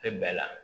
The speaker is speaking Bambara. Tɛ bɛɛ la